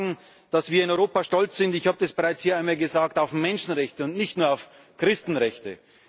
Wir sagen, dass wir in Europa stolz sind ich habe das bereits hier einmal gesagt auf Menschenrechte und nicht nur auf Christenrechte.